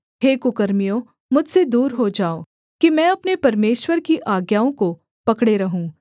हे कुकर्मियों मुझसे दूर हो जाओ कि मैं अपने परमेश्वर की आज्ञाओं को पकड़े रहूँ